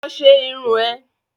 Lọ ṣe irun ẹ̀!